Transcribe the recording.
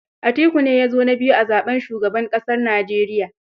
Atiku ne ya zo na biyu a zaɓen shugaban ƙasar Nijeriya.